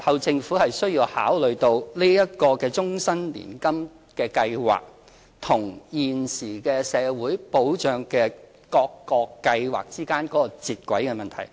政府日後需要考慮到這個終身年金計劃與現時各個社會保障計劃之間的接軌問題。